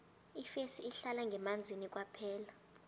ifesi ihlala ngemanzini kwaphela